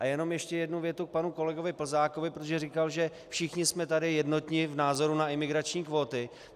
A jenom ještě jednu větu k panu kolegovi Plzákovi, protože říkal, že všichni jsme tady jednotní v názoru na imigrační kvóty.